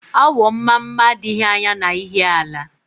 Awọ Mmamma adịghị anya na Ihiala